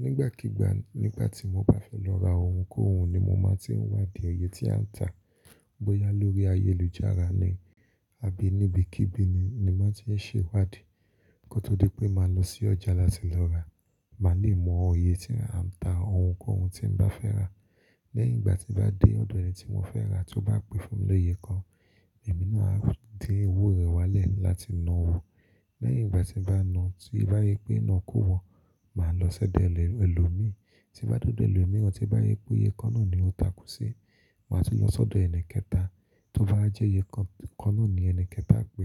Nígbàkígbà nígbà tí mo bá fẹ́ lọ ra ohunkóhun ni mo máa tí ń wádìì iyẹ tí à ń tà. Bóyá lórí ayélujára ni àbí níbí kíbi ni ni má ti ń ṣe wádìì. Ní kó tó di pé máa lọ sí ọjà láti lọ ra. Máa lè mọ iyè tí a ń ta ohunkóhun tí mo bá fẹ́ rà. Lẹ́yìn ìgbà tí bá dé ọ̀dọ̀ ẹni tí mo fẹ́ rà, tó bá pè fún mi lóye kan, èmi náà á di owó rẹ̀ wálẹ̀ láti na owó. Lẹ́yìn ìgbà tí n bá na ọ́, tí bá rii pé iná kó wọ, máa lọ sọ́dọ̀ ẹlòmíì. Tí bá dé ọdọ̀ ẹlòmíìran, tí bá ripé iye kan náà ni ó takù sí, máa tún lọ sọ́dọ̀ ẹni kẹta. Tó bá jẹ́ iye kan náà ni ẹni kẹta pè,